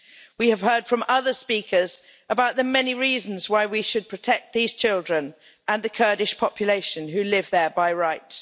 We have heard from other speakers about the many reasons why we should protect these children and the Kurdish population who live there by right.